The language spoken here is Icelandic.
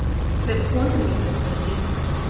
Með konu mína við hlið mér.